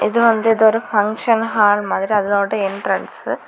இது வந்து ஏதோ ஒரு ஃபங்ஷன் ஹால் மாதிரி அதோட என்ட்ரன்சு .